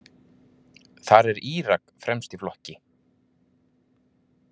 Þar er Írak fremst í flokki.